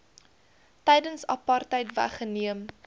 tydens apartheid weggeneem